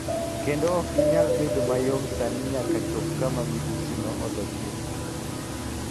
kendo ok ginyal bedo mayom sani nyaka chop kama midhusino olo chuth.